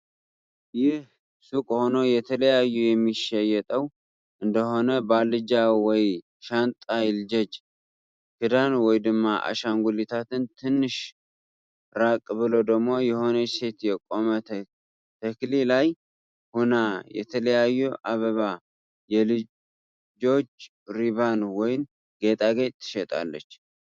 ይህ ስቅ ሆኖ የተላያዩ የሚሸየጠው እንደሆነ ባልጃ ወይ ሻንጣ ይልጆጅ ክዳን ወይ ድሞ ኣሻንጉሊታት ትንሽ ራቅ ብሎ ዶሞ የሆነች ሴት የቆመ ተክሊ ላይ ሁና የተላያዩ ኣበባ የልጆጅ ሪባን ወይ ጊጣጌጥ ትሸጣለች።